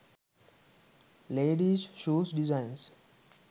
ladies shoes designs